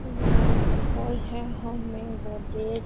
ये एक हॉल है हॉल में गोदरेज --